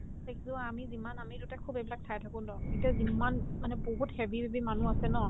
দেখিছো আমি যিমান আমি দুটাই খুব এইবিলাক চাই থাকো ন এতিয়া যিম্মান মানে বহুত heavy heavy মানুহ আছে ন